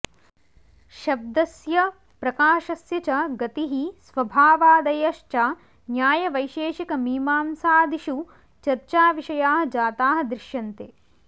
शब्दस्य प्रकाशस्य च गतिः स्वभावादयश्च न्यायवैशेषिकमीमांसादिषु चर्चाविषयाः जाताः दृश्यन्ते